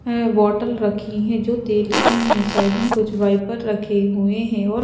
हैबोतल रखी है जो तेल की है साइड में कुछ वाइपर रखे हुए हैं और--